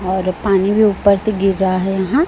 और पानी भी ऊपर से गिर रहा है यहां।